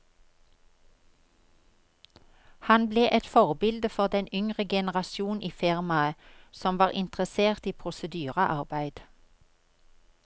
Han ble et forbilde for den yngre generasjon i firmaet som var interessert i prosedyrearbeid.